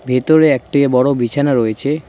ভেতরে একটি বড়ো বিছানা রয়েছে।